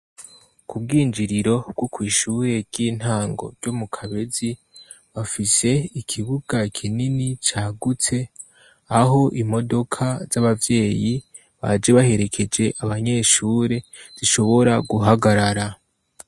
Ku bw'injiriro bwo kw'ishure ry'intango ryo mu kabezi ,bafise ikibuga kinini cagutse aho imodoka z'abavyeyi baje baherekeje abanyeshure zishobora guhagarara.